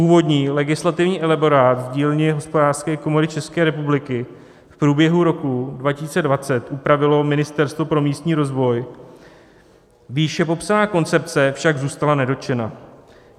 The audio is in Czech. Původní legislativní elaborát z dílny Hospodářské komory České republiky v průběhu roku 2020 upravilo Ministerstvo pro místní rozvoj, výše popsaná koncepce však zůstala nedotčena.